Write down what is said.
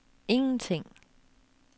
ingenting